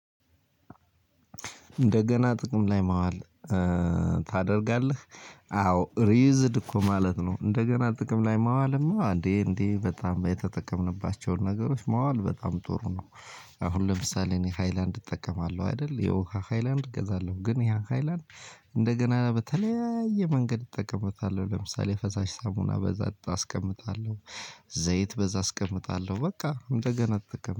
እንደገና ጥቅም ላይ ማዋል ታደርጋለህ? አዎ ሪዝድ እኮ ማለት ነው። እንደገና ጥቅም ላይ ማዋልማ እንዴ እንዴ? በጣም የተጠቀምንባቸውን ነገሮች ማዋል በጣም ጥሩ ነው። አሁን ለምሳሌ እኔ ሃይላንድ እጠቀማለሁ አይደል? የውሃ ሃይላንድ እገዛለሁ ግን ያ ሃይላንድ። እንደገና በተለያየ መንገድ እጠቀምበታለሁ ለምሳሌ ፈሳሽ ሳሙና በዛ አስቀምጣለሁ። ዘይት በዛ አስቀምጣለሁ በቃ እንደገና ትጠቀምበታለህ